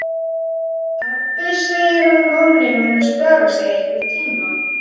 Pabbi segir að Nonni muni spjara sig einhvern tíma.